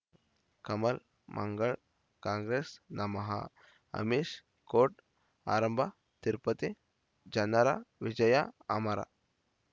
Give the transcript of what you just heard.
ಕಮಲ್ ಮಂಗಳ್ ಕಾಂಗ್ರೆಸ್ ನಮಃ ಅಮಿಷ್ ಕೋರ್ಟ್ ಆರಂಭ ತಿರುಪತಿ ಜನರ ವಿಜಯ ಅಮರ್